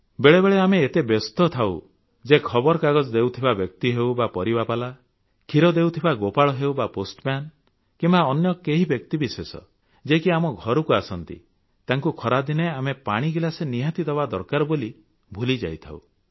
ବେଳେବେଳେ ଆମେ ଏତେ ବ୍ୟସ୍ତ ଥାଉଁ ଯେ ଖବରକାଗଜ ଦେଉଥିବା ବ୍ୟକ୍ତି ହେଉ ବା ପରିବାବାଲା କ୍ଷୀର ଦେଉଥିବା ଗୋପାଳ ହେଉ ବା ପୋଷ୍ଟମ୍ୟାନ କିମ୍ବା ଅନ୍ୟ କେହି ବ୍ୟକ୍ତିବିଶେଷ ଯେ କି ଆମ ଘରକୁ ଆସନ୍ତି ତାଙ୍କୁ ଖରାଦିନେ ଆମେ ପାଣି ଗିଲାସେ ନିହାତି ଦେବା ଦରକାର ବୋଲି ଭୁଲିଯାଇଥାଉ